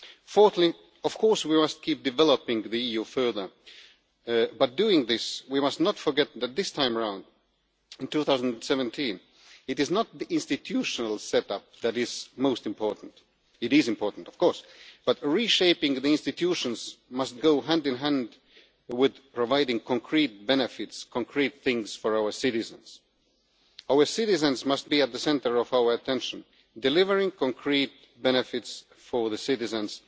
Fourthly, of course we must keep developing the EU further, but doing this, we must not forget that this time around, in 2017, it is not the institutional setup that is most important it is important, of course but reshaping the institutions must go hand in hand with providing concrete benefits for our citizens. Our citizens must be at the centre of our attention, and delivering concrete benefits for citizens